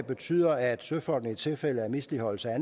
betyder at søfolk i tilfælde af misligholdelse af